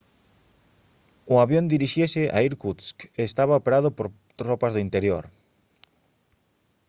o avión dirixíase a irkutsk e estaba operado por tropas do interior